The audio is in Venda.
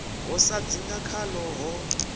ho sa dzinga khaḽo ho